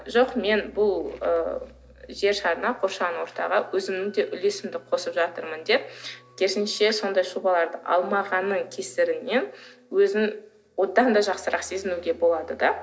жоқ мен бұл ы жер шарына қоршаған ортаға өзімнің де үлесімді қосып жатырмын деп керісінше сондай жобаларды алмағанның кесірінен өзін одан да жақсырақ сезінуге болады да